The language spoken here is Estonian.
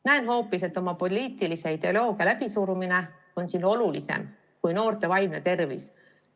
Näen hoopis, et oma poliitilise ideoloogia läbisurumine on olulisem kui noorte vaimne tervis.